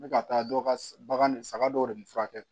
N bɛ ka taa dɔ ka bagan saga dɔw de bɛ furakɛ